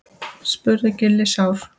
spurði Gulli sár.